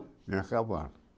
Vinha a